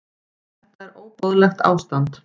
Þetta er óboðlegt ástand.